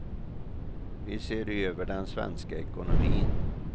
Vi ser över den svenska ekonomin.